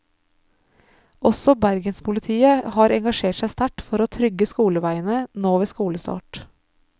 Også bergenspolitiet har engasjert seg sterkt for å trygge skoleveiene nå ved skolestart.